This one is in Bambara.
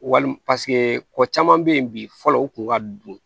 Wali paseke ko caman bɛ yen bi fɔlɔ u kun ka don